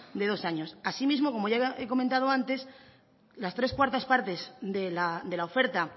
de dos años asimismo como ya he comentado antes las tres cuartas partes de la oferta